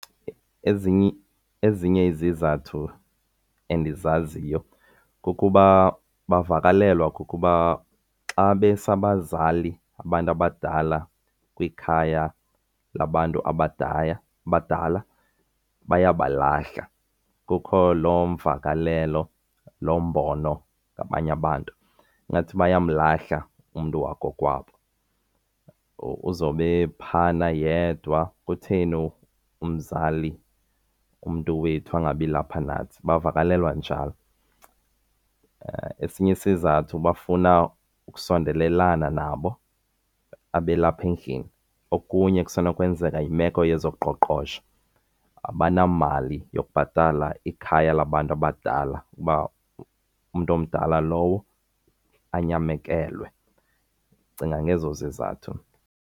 Ezinye izizathu endizaziyo kukuba bavakalelwa kukuba xa besa abazali, abantu abadala kwikhaya labantu abadala bayabalahla. Kukho loo mvakalelo, lo mbono kwabanye abantu, ingathi bayamlahla umntu wakokwabo. Uzobe ephayana yedwa. Kutheni umzali, umntu wethu angabilapha nanthi? Bavakalelwa njalo. Esinye isizathu bafuna ukusondelelana nabo abe lapha endlini. Okunye kusenokwenzeka yimeko yezoqoqosho, abanamali yokubhatala ikhaya labantu abadala uba umntu omdala lowo anyamekelwe. Ndicinga ngezo zizathu mna.